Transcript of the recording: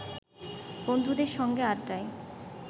বন্ধুদের সঙ্গে আড্ডায়